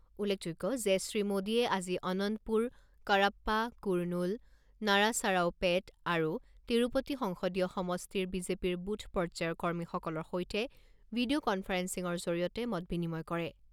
উল্লেখযোগ্য যে শ্ৰী মোডীয়ে আজি অনন্তপুৰ, কড়াপ্পা, কুৰনুল, নাৰাচাৰাওপেট আৰু তিৰুপতি সংসদীয় সমষ্টিৰ বিজেপিৰ বুথ পৰ্যায়ৰ কৰ্মীসকলৰ সৈতে ভিডিঅ কনফাৰেন্সিৰ জৰিয়তে মত বিনিময় কৰে।